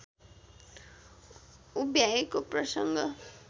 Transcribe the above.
उभ्याएको प्रसङ्ग